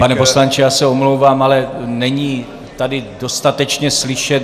Pane poslanče, já se omlouvám, ale není tady dostatečně slyšet.